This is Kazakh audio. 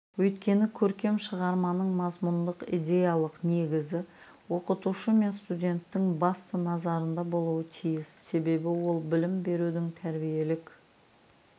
өйткені көркем шығарманың мазмұндық идеялық негізі оқытушы мен студенттің басты назарында болуы тиіс себебі ол білім берудің тәрбиелік